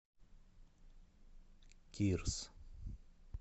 кирс